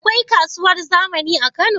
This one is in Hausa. Akwai kasuwar zamani a kano?